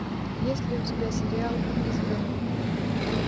есть ли у тебя сериал избранный